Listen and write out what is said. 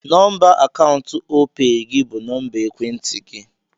Nọmba akaụntụ Opay gị bụ nọmba ekwentị gị.